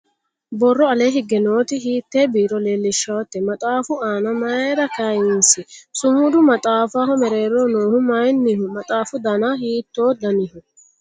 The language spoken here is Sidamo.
Borro alee higge nooti hiitte biiro leellishawoote? Maxaafu aana mayiira kayiinsi? Sumudu maxaafaho mereeroho noohu mayiinniho? Maxaafu Dana hiittoo daniho?